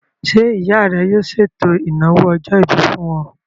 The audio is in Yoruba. Ṣé ìyá rẹ yóò ṣètò ìnáwó ọjọ́-ìbí fún ọ?